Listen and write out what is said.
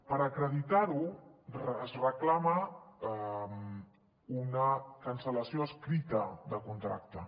per acreditar ho es reclama una cancel·lació escrita de contracte